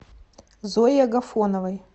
зое агафоновой